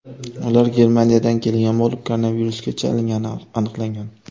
Ular Germaniyadan kelgan bo‘lib, koronavirusga chalingani aniqlangan.